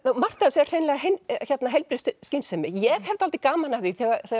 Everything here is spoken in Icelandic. margt af þessu er heilbrigð skynsemi ég hef dálítið gaman af því